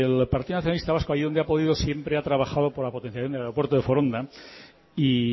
el partido nacionalista vasco ahí donde ha podido siempre ha trabajado por la potenciación del aeropuerto de foronda y